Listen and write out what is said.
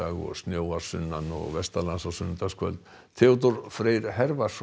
og snjóar sunnan og vestanlands á sunnudagskvöld Theodór Freyr